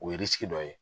O ye dɔ ye